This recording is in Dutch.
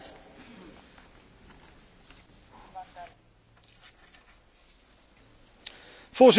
Voorzitter, de Nederlandse kieswet staat helaas toe dat er politieke partijen kunnen bestaan zonder leden.